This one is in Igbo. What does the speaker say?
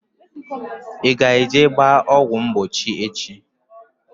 I ga eje gbaa ọgwụ mgbochi echi?